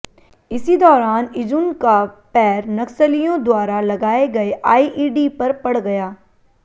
इसी दौरान इजुन का पैर नक्सलियों द्वारा लगाए गए आइईडी पर पड़ गया